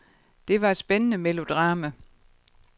Det var et spændende melodrama.